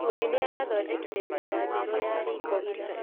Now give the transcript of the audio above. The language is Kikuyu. Bundi nĩarathondekire metha njerũ ya riko ira